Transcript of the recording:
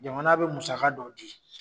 Jamana be musa dɔw di